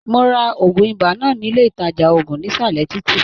Mó rà òògùn ibà náà nílé ìtàjà òògùn nisalẹ títí.